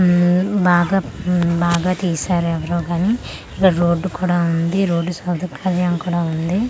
ఉమ్మ్ బాగా ఉమ్మ్ బాగా తీసారు ఎవ్వరో కానీ ఇక్కడ రోడ్ కూడా ఉంది రోడ్ సదుపాయం కూడా ఉంది .